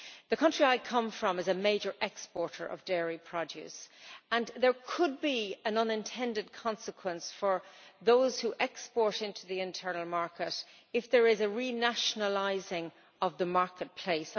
The country I come from is a major exporter of dairy produce and there could be an unintended consequence for those who export into the internal market if there is a re-nationalising of the marketplace.